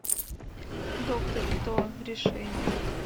доктор кто решение